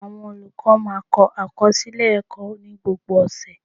Awọn olukọ máa ń kọ akọsilẹ ẹkọ ni gbogbo ọsẹ